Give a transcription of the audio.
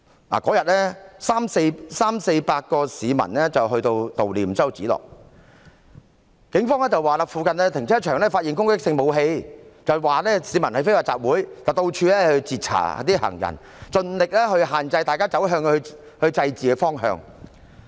當天有348名市民悼念周梓樂，警方說在附近停車場發現攻擊性武器，指市民非法集會，到處截查行人，設法制止市民走向祭祀的方向。